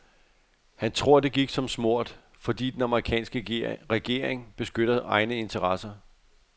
Han tror, at det gik så smurt, fordi den amerikanske regering beskytter egne interesser.